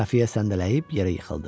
Xəfiyyə səndələyib yerə yıxıldı.